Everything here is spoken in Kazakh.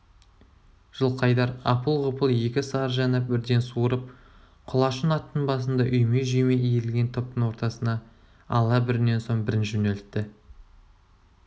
жылқайдар апыл-ғұпыл екі сарыжаны бірден суырып құлашын аттың басында үйме-жүйме иірілген топтың ортасына ала бірінен соң бірін жөнелтті